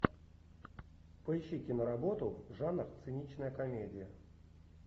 поищи киноработу жанр циничная комедия